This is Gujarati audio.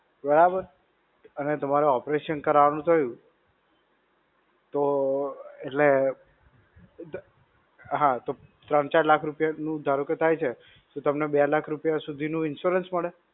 બરાબર. અને તમારે operation કરવાનું થયું, તો એટલે, હા તો, ત્રણ-ચાર લાખ રૂપિયાનું ધારો કે થાય છે તો તમને બે લાખ રૂપિયા સુધીનું insurance મળે?